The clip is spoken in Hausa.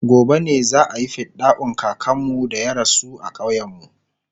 gobe ne za'ayi fidda'un kakanmu da ya rasu a ƙauyen mu